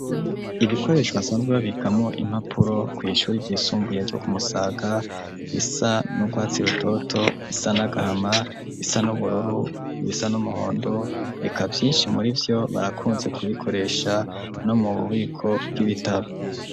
Ibikoresho basanzwe babikamwo impapuro ku ishure ry'isumbuye ryo kumusaga bisa n'urwatsi rutoto ,ibisa n'agahama ,ibisa n'ubururu i,bisa n'umuhondo reka vyinshi muri vyo barakunze kubikoresha no mu bubiko bw'ibitabo.